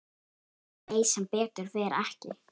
Nei, sem betur fer ekki.